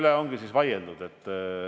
Seda otsust me langetanud ei ole.